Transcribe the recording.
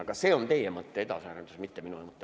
Aga see on teie mõtte edasiarendus, mitte minu mõte.